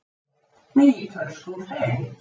Með ítölskum hreim.